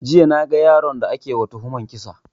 Jiya na ga yaron da ake ma tuhuman kisa